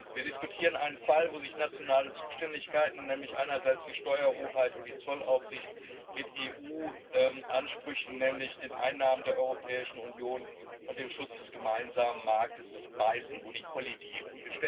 Wir diskutieren einen Fall, wo sich nationale Zuständigkeiten, nämlich die Steuerhoheit und die Zollaufsicht, mit EU Ansprüchen, nämlich den Einnahmen der Europäischen Union und dem Schutz des gemeinsamen Marktes, beißen, wo sie kollidieren.